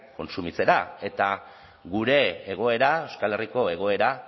kontsumitzera eta gure egoera euskal herriko egoera